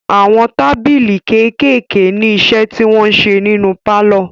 Àwọn tábìlì kékèèké ní iṣẹ́ tí wọn ń ṣe nínu pálọ̀.